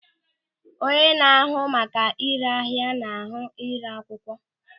Onye na-ahụ maka ị́ré ahịa na-ahụ ị́ré akwụkwọ.